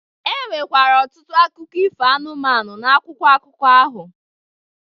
E nwekwara ọtụtụ akụkọ ifo anụmanụ n’akwụkwọ akụkọ ahụ